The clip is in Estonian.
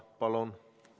Palun!